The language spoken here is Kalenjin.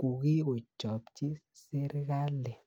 kokigochobchi serikali